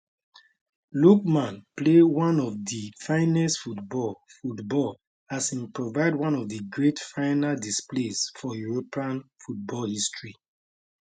lookman play one of di finest football football as im provide one of di great final displays for european football history